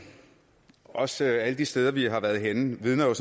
også alle de steder vi har været henne vidner jo